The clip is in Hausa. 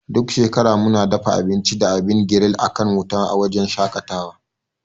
Duk shekara muna dafa abinci da abin giril akan wuta a wujen shaƙatawa.